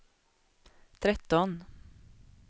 tretton